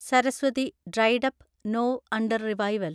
Saraswati (dried up, now under revival)